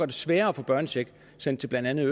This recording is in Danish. det sværere at få børnechecken sendt blandt andet